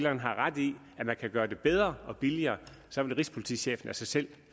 har ret i at man kan gøre det bedre og billigere så vil rigspolitichefen af sig selv